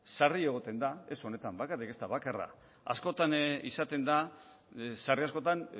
sarri egoten da ez honetan bakarrik ez da bakarra askotan izaten da sarri askotan